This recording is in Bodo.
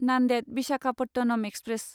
नान्देद विशाखापटनम एक्सप्रेस